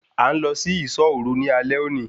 A ń lọ sí isọ́ òru ní alẹ́ òní